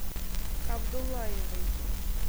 абдуллаевой